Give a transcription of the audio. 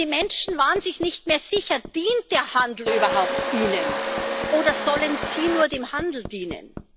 Denn die Menschen waren sich nicht mehr sicher Dient der Handel überhaupt ihnen, oder sollen sie nur dem Handel dienen?